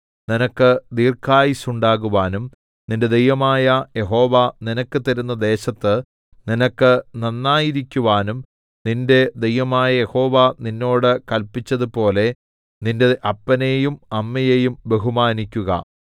നിനക്ക് ദീർഘായുസ്സ് ഉണ്ടാകുവാനും നിന്റെ ദൈവമായ യഹോവ നിനക്ക് തരുന്ന ദേശത്ത് നിനക്ക് നന്നായിരിക്കുവാനും നിന്റെ ദൈവമായ യഹോവ നിന്നോട് കല്പിച്ചതുപോലെ നിന്റെ അപ്പനെയും അമ്മയെയും ബഹുമാനിക്കുക